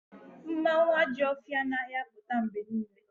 Mmanwu Ajo ofia anaghi aputa mgbe niile